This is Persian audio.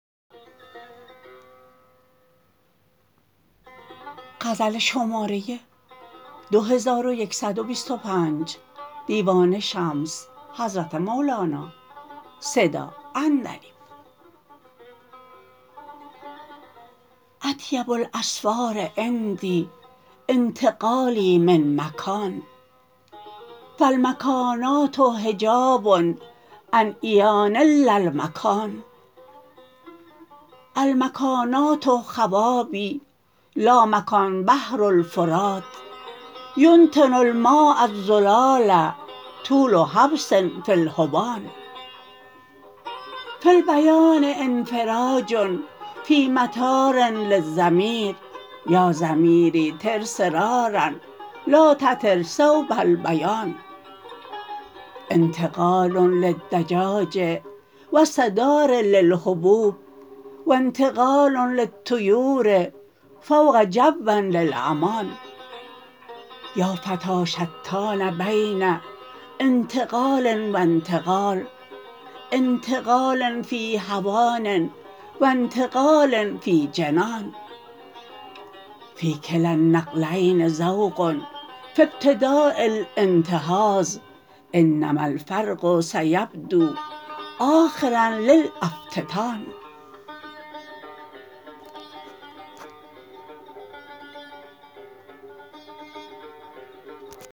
اطیب الاسفار عندی انتقالی من مکان فالمکانات حجاب عن عیان اللامکان المکانات خوابی لا مکان بحر الفرات ینتن الماء الزلال طول حبس فی الجنان فی البیان انفراج فی مطار للضمیر یا ضمیری طرسرارا لا تطر صوب البیان انتقال للدجاج وسط دار للحبوب و انتقال للطیور فوق جو للامان یا فتی شتان بین انتقال و انتقال انتقال فی هوان و انتقال فی جنان فی کلا النقلین ذوق فی ابتدا الانتهاض انما الفرق سیبدوا آخرا للافتان